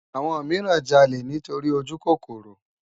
Awòn mirán jàlé nitóri ójúkókóró